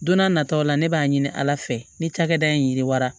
Don n'a nataw la ne b'a ɲini ala fɛ ne cakɛda in yiriwara